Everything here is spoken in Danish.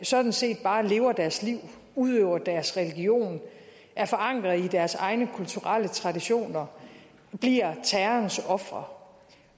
sådan set bare lever deres liv udøver deres religion er forankret i deres egne kulturelle traditioner bliver terrorens ofre